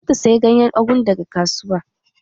Zata saye ganyen ugu daga kasuwa